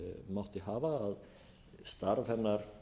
mátti hafa að starf hennar